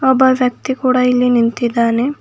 ಒಬ್ಬ ವ್ಯಕ್ತಿ ಕೂಡ ಇಲ್ಲಿ ನಿಂತಿದ್ದಾನೆ.